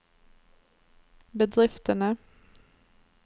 bedriftene